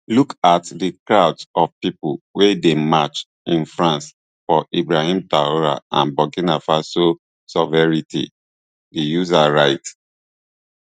look at di crowds of pipo wey dey march in france for ibrahim traor and burkina faso sovereignty di user write